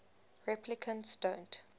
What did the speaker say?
replicants don't